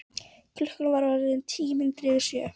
Klukkan var orðin tíu mínútur yfir sjö.